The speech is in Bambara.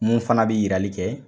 Mun fana bI yirali kɛ